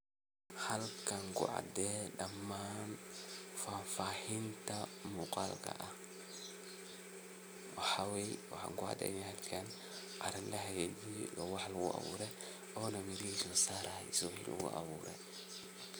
Halkan kucadeh dhaman fafahinta muqalka aah waxakucaynaya in lahakajiye oo wax lagu abuure ona meshisa lasaraya.